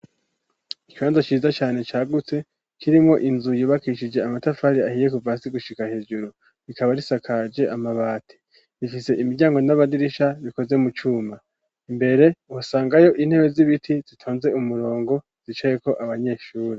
Ikibanza ciza cane cagutse kirimwo inzu yubakishije amatafari ahiye kuvasi gushika hejuru rikaba risakaje amabati rifise imiryango n'abadirisha bikoze mu cuma imbere uhosangayo intebe z'ibiti zitonze umurongo zicayeko abanyeshuri.